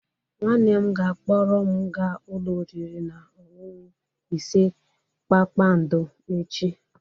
Nwanne m ga-akpọrọ m gaa ụlọ oriri na ọṅụṅụ ise kpakpando echi.